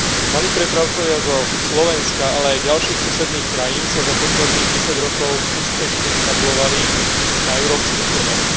Malí prepravcovia zo Slovenska, ale aj ďalších susedných krajín sa za posledných desať rokov úspešne etablovali na európskych trhoch.